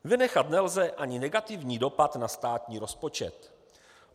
Vynechat nelze ani negativní dopad na státní rozpočet.